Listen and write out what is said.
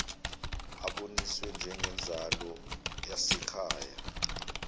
aboniswe njengenzalo yasekhaya